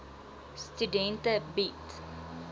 studente bied